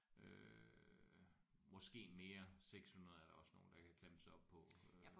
Øh måske mere 600 er der også nogle der kan kan klemme sig op på øh